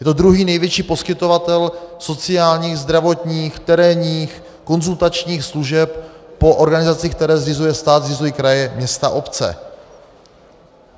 Je to druhý největší poskytovatel sociálních, zdravotních, terénních, konzultačních služeb po organizacích, které zřizuje stát, zřizují kraje, města, obce.